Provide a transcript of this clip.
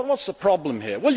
What is the problem here?